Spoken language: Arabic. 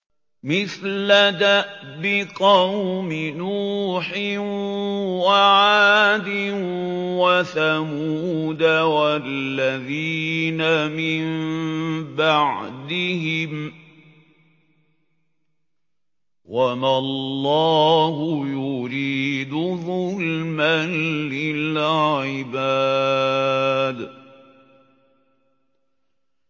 مِثْلَ دَأْبِ قَوْمِ نُوحٍ وَعَادٍ وَثَمُودَ وَالَّذِينَ مِن بَعْدِهِمْ ۚ وَمَا اللَّهُ يُرِيدُ ظُلْمًا لِّلْعِبَادِ